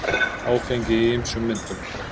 Áfengi í ýmsum myndum.